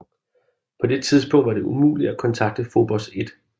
På det tidspunkt var det umuligt at kontakte Fobos 1